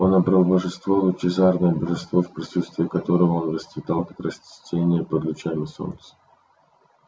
он обрёл божество лучезарное божество в присутствии которого он расцветал как растение под лучами солнца